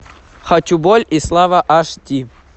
хочу боль и слава аш ди